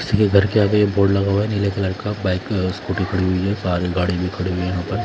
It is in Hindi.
किसी के घर के आगे एक बोर्ड लगा हुआ है नीले कलर का ब्लैक स्कूटी खड़ी हुई है सामने गाड़ी भी खड़ी हुई है यहां पर--